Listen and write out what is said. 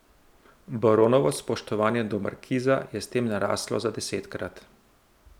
Baronovo spoštovanje do markiza je s tem naraslo za desetkrat.